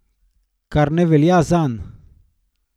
Kar ne velja zanj.